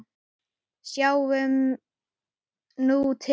Sjáum nú til?